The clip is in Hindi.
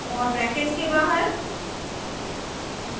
और ब्रैकेट्स के बाहर